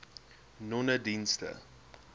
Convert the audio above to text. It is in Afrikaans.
nonedienste